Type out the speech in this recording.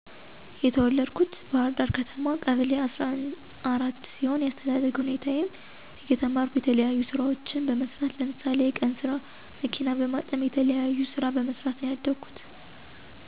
የተወለድኩት ባህርዳር ከተማ ቀበሌ አሰራ አራት ሲሆን የአስተዳደግ ሁኔታየም እየተማረኩ የተለያዩ ስራዎችን በመስራት ለምሳሌ የቀንስራ፣ መኪና በመጠብ የተለያዩ ስራ በመሰራት ነው ያደኩት።